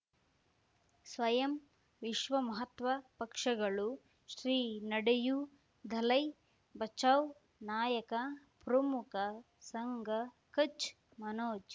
ಸ್ವಯಂ ವಿಶ್ವ ಮಹಾತ್ಮ ಪಕ್ಷಗಳು ಶ್ರೀ ನಡೆಯೂ ದಲೈ ಬಚೌ ನಾಯಕ ಪ್ರಮುಖ ಸಂಘ ಕಚ್ ಮನೋಜ್